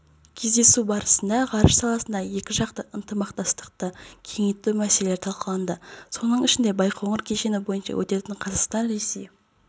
кездесу барысында ғарыш саласындағы екіжақты ынтымақтастықты кеңейту мәселелері талқыланды соның ішінде байқоңыр кешені бойынша өтетін қазақстан-ресей